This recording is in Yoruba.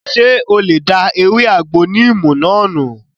Ṣé o lè da ewé àgbo níìmù náà nù?